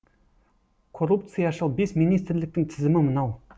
коррупцияшыл бес министрліктің тізімі мынау